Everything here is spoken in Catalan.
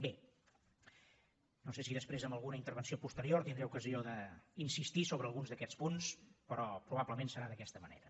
bé no sé si després en alguna intervenció posterior tindré ocasió d’insistir sobre alguns d’aquests punts però probablement serà d’aquesta manera